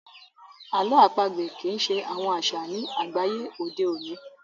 àlọ́ àpagbè kii ṣe àwọn aṣa ní àgbáyé òde oní